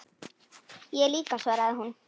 Ég líka, svaraði hún.